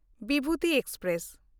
Bibhuti express